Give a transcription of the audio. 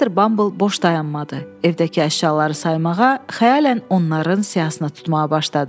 Missis Bumble boş dayanmadı, evdəki əşyaları saymağa, xəyalən onların siyahısını tutmağa başladı.